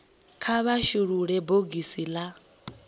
kha vha shulule bogisi la